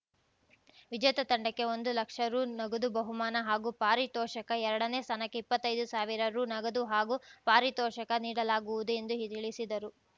ವಿಜೇತ ತಂಡಕ್ಕೆ ಒಂದು ಲಕ್ಷ ರು ನಗದು ಬಹುಮಾನ ಹಾಗೂ ಪಾರಿತೋಷಕ ಎರಡನೇ ಸ್ಥಾನಕ್ಕೆ ಇಪ್ಪತ್ತೈದು ಸಾವಿರ ರು ನಗದು ಹಾಗೂ ಪಾರಿತೋಷಕ ನೀಡಲಾಗುವುದು ಎಂದು ಹಿಳಿಸಿದರು